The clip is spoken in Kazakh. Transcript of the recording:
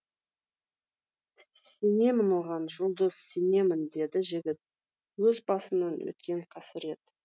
сенемін оған жұлдыз сенемін деді жігіт өз басымнан өткен қасірет